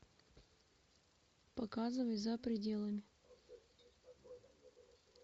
показывай за пределами